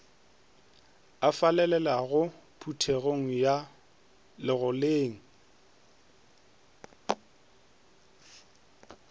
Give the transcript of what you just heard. a falalelago phuthegong ya legoleng